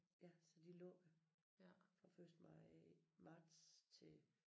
Ja så de lukker fra første maj marts til